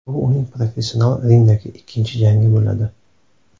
Bu uning professional ringdagi ikkinchi jangi bo‘ladi.